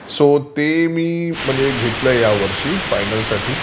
so ते मी घेतलंय ह्या वर्षी फायनल साठी